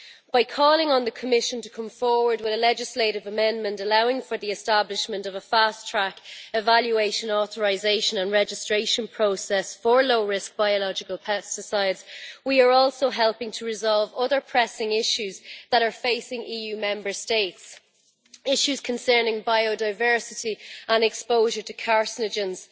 By calling on the Commission to come forward with a legislative amendment allowing for the establishment of a fast track evaluation, authorisation and registration process for low risk biological pesticides, we are also helping to resolve other pressing issues that are facing EU Member States, issues concerning biodiversity and exposure to carcinogens.